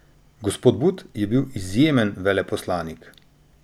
Gospod But je bil izjemen veleposlanik.